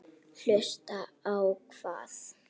Hlusta á hvað?